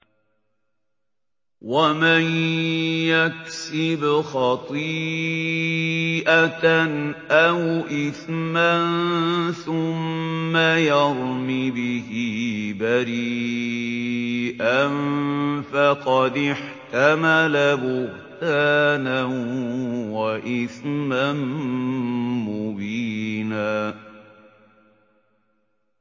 وَمَن يَكْسِبْ خَطِيئَةً أَوْ إِثْمًا ثُمَّ يَرْمِ بِهِ بَرِيئًا فَقَدِ احْتَمَلَ بُهْتَانًا وَإِثْمًا مُّبِينًا